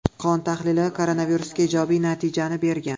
Qon tahlili koronavirusga ijobiy natijani bergan.